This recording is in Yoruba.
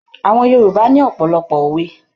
Àwọn Yorùbá ní ọ̀pọ̀lọpọ̀ òwe.